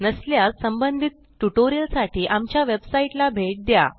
नसल्यास संबंधित ट्युटोरियलसाठी आमच्या वेबसाईटला भेट द्या